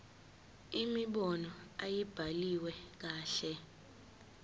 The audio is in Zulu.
imibono ayibhaliwe kahle